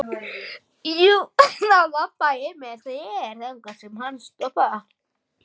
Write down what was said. Þá labba ég með þér þangað sem hann stoppar.